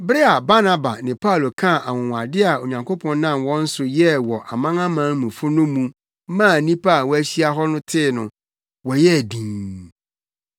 Bere a Barnaba ne Paulo kaa anwonwade a Onyankopɔn nam wɔn so yɛɛ wɔ amanamanmufo no mu maa nnipa a wɔahyia hɔ no tee no, wɔyɛɛ dinn.